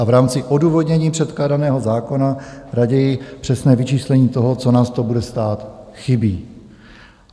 A v rámci odůvodnění předkládaného zákona raději přesné vyčíslení toho, co nás to bude stát, chybí.